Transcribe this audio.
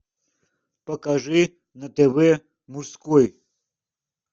покажи на тв мужской